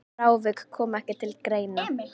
Frávik komi ekki til greina.